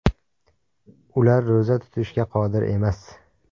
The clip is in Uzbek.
Ular ro‘za tutishga qodir emas.